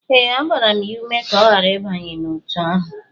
Ee, agbara m ya ume ka ọ ghara ịbanye n'otu ahụ